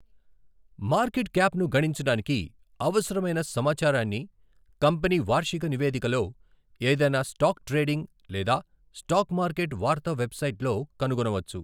Market క్యాప్ను గణించడానికి అవసరమైన సమాచారాన్ని కంపెనీ వార్షిక నివేదికలో, ఏదైనా స్టాక్ ట్రేడింగ్ లేదా స్టాక్ మార్కెట్ వార్తా వెబ్సైట్లో కనుగొనవచ్చు.